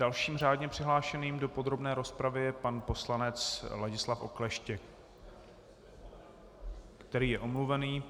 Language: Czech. Dalším řádně přihlášeným do podrobné rozpravy je pan poslanec Ladislav Okleštěk, který je omluvený.